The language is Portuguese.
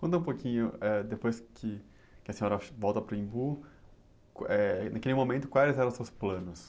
Conta um pouquinho, eh, depois que, que a senhora volta para o Embu, eh, naquele momento, quais eram seus planos?